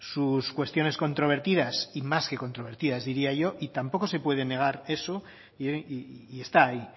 sus cuestiones controvertidas y más que controvertidas diría yo y tampoco se puede negar eso y está ahí